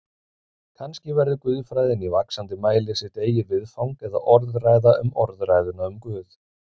Kannski verður guðfræðin í vaxandi mæli sitt eigið viðfang eða orðræða um orðræðuna um Guð.